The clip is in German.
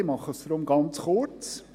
Ich fasse mich deshalb ganz kurz.